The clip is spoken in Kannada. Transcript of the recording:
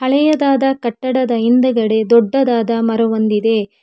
ಹಳೆಯದಾದ ಕಟ್ಟಡದ ಹಿಂದೆಗಡೆ ಒಂದು ದೊಡ್ಡದಾದ ಮರವೊಂದಿದೆ.